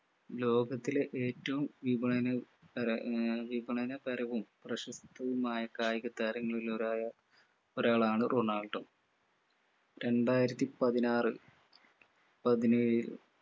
ലോകത്തിലെ ഏറ്റവും വിപണന ഏർ വിപണനതരവും പ്രശസ്തവുമായ കായിക താരങ്ങളിൽ ഒരാളായ ഒരാളാണ് റൊണാൾഡോ രണ്ടായിരത്തിപതിനാറു പതിനേഴിൽ